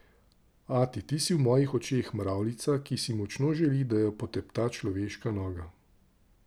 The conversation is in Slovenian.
Ati, ti si v mojih očeh mravljica, ki si močno želi, da jo potepta človeška noga.